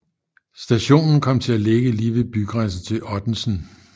Stationen kom til at ligge lige ved bygrænsen til Ottensen